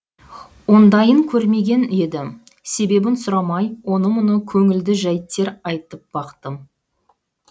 ондайын көрмеген едім себебін сұрамай оны мұны көңілді жәйттер айтып бақтым